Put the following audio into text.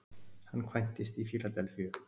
Hann kvæntist í Fíladelfíu